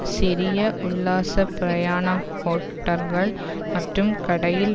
சிறிய உள்ளாச பிரயாண ஹோட்டர்கள் மற்றும் கடையில்